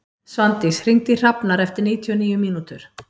Svandís, hringdu í Hrafnar eftir níutíu og níu mínútur.